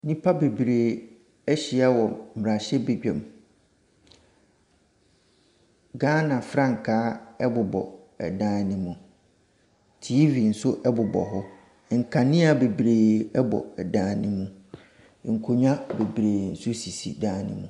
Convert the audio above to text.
Nnipa bebree ahyia wɔ mmarahyɛbadwam. Ghana frankaa bobɔ ɛdan no mu. TV nso bobɔ hɔ. Nkanea bebree bɔ dan no mu. Nkonnwa bebree nso si dan no mu.